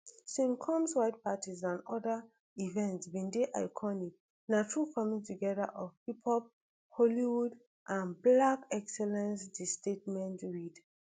sean combs white parties and oda events bin dey iconic na true coming together of hiphop hollywood and black excellence di statement read